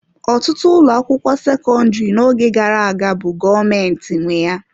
Ọtụtụ ụlọ akwụkwọ sekọndrị n'oge gara aga bu gọọmentị nwe ya.